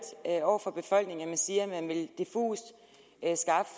over for befolkningen at man siger diffust at